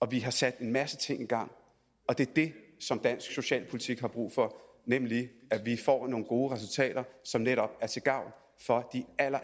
vi har sat en masse ting i gang og det er det som dansk socialpolitik har brug for nemlig at få nogle gode resultater som netop er til gavn for de